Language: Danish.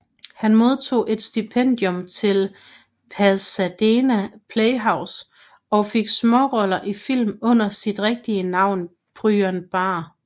Han modtog et stipendium til Pasadena Playhouse og fik småroller i film under sit rigtige navn Byron Barr